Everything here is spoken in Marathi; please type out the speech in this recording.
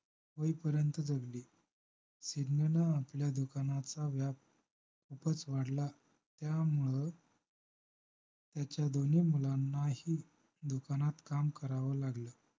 होईपर्यंत जगली सिडनीन आपल्या दुकानाचा व्याप खूपच वाढला त्यामुळं त्याच्या दोन्ही मुलांनाही दुकानात काम करावं लागलं